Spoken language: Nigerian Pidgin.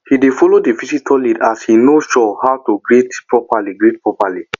he dey follow the visitor lead as he no sure how to greet properly greet properly